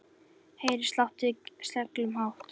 Heyri slátt í seglum hátt.